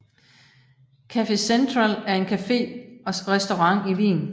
Café Central er en café og restaurant i Wien